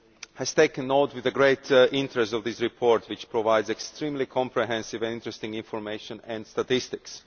has taken note with great interest of this report, which provides extremely comprehensive and interesting information and statistics.